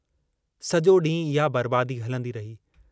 सो डींहुं इहा बर्बादी हलंदी रही।